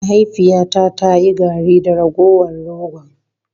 Mahaifiyata ta yi garri da ragowar rogon.